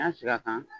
N'a sigira kan